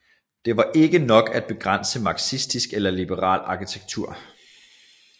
Det var ikke nok at begrænse marxistisk eller liberal arkitektur